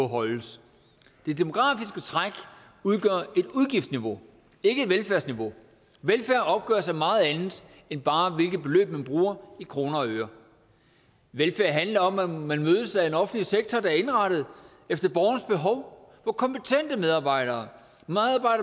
holdes det demografiske træk udgør et udgiftsniveau ikke et velfærdsniveau velfærd opgøres af meget andet end bare hvilke beløb man bruger i kroner og øre velfærd handler om at man mødes af en offentlig sektor der er indrettet efter borgerens behov hvor kompetente medarbejdere medarbejdere